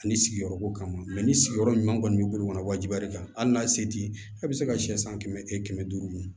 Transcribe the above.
Ani sigiyɔrɔ ko kama ma ni sigiyɔrɔ ɲuman kɔni b'i bolo wajibi kan hali n'a se t'i ye a bɛ se ka sɛ san kɛmɛ e kɛmɛ duuru